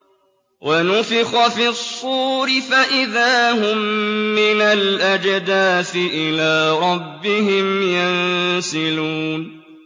وَنُفِخَ فِي الصُّورِ فَإِذَا هُم مِّنَ الْأَجْدَاثِ إِلَىٰ رَبِّهِمْ يَنسِلُونَ